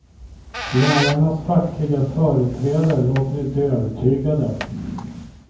Lärarnas fackliga företrädare låter inte övertygade.